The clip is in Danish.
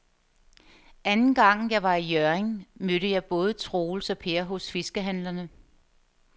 Anden gang jeg var i Hjørring, mødte jeg både Troels og Per hos fiskehandlerne.